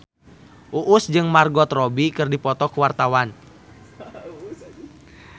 Uus jeung Margot Robbie keur dipoto ku wartawan